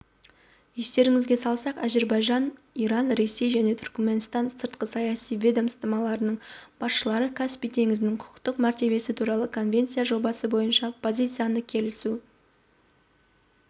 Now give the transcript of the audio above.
естеріңізге салсақ әзірбайжан иран ресей және түркіменстанның сыртқы саяси ведомстволарының басшылары каспий теңізінің құқықтық мәртебесі туралы конвенция жобасы бойынша позицияны келісу